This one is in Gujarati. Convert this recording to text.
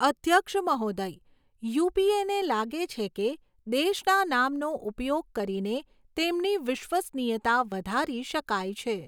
અધ્યક્ષ મહોદય, યુપીએને લાગે છે કે, દેશના નામનો ઉપયોગ કરીને તેમની વિશ્વસનીયતા વધારી શકાય છે.